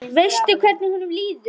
Veistu hvernig honum líður?